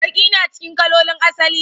Baki na cikin kalolin asali.